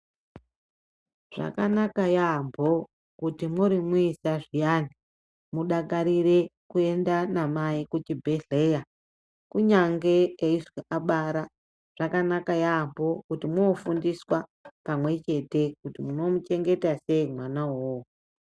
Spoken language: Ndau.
Zvakanaka yaampho, kuti mwuri muisa zviyani, mudakarire kuenda namai kuchibhedhleya ,kunyange eizwi abara. Zvakanaka yaampho kuti mwooofundiswa pamwe chete, kuti munomuchengeta sei mwana uwowo.